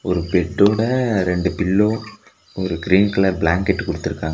ஒரு பெட்டோட ரெண்டு பில்லோ ஒரு க்ரீன் கலர் பிளங்கெட்டு குடுத்துருக்காங்க.